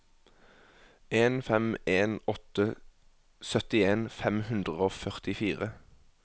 en fem en åtte syttien fem hundre og førtifire